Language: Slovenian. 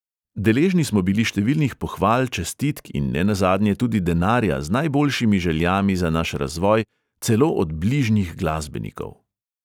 Deležni smo bili številnih pohval, čestitk in nenazadnje tudi denarja z najboljšimi željami za naš razvoj, celo od bližnjih glasbenikov!